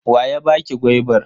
Wa ya baki gwaibar?